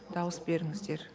дауыс беріңіздер